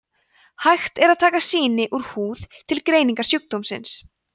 hægt er að taka sýni úr húð til greiningar sjúkdómsins